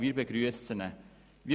Wir begrüssen diesen Vorschlag.